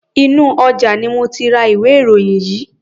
Inú ọjà ni mo ti ra ìwé-ìròyìn yìí.